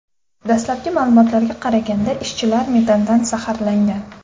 Dastlabki ma’lumotlarga qaraganda, ishchilar metandan zaharlangan.